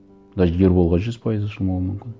даже ерболға жүз пайыз ашылмауым мүмкін